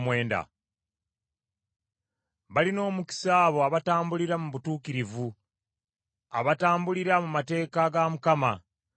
Balina omukisa abo abatambulira mu butuukirivu; abatambulira mu mateeka ga Mukama .